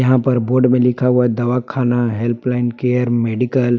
यहां पर बोर्ड में लिख हुआ दावाखाना हेल्प लाइन केयर मेडिकल ।